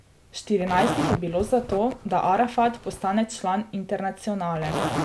Štirinajst jih je bilo za to, da Arafat postane član internacionale.